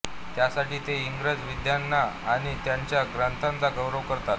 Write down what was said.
त्यासाठीच ते इंग्रज विद्वानांचा आणि त्यांच्या ग्रंथांचा गौरव करतात